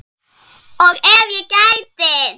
Og ef ég gæti?